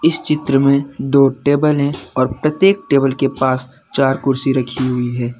इस चित्र में दो टेबल है और प्रत्येक टेबल के पास चार कुर्सी रखी हुई है।